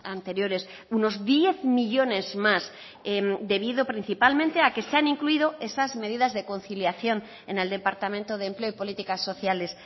anteriores unos diez millónes más debido principalmente a que se han incluido esas medidas de conciliación en el departamento de empleo y políticas sociales